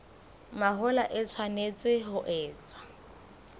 mahola e tshwanetse ho etswa